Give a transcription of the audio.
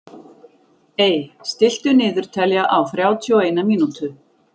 Ey, stilltu niðurteljara á þrjátíu og eina mínútur.